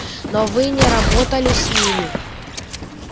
но вы не работали с ними